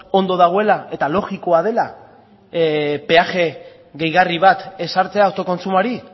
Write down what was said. ondo dagoela eta logikoa dela peaje gehigarri bat ezartzea autokontsumoari